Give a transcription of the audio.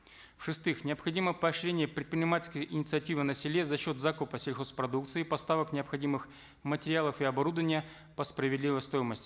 в шестых необходимо поощрение предпринимательской инициативы на селе за счет закупа сельхозпродукции поставок необходимых материалов и оборудования по справедливой стоимости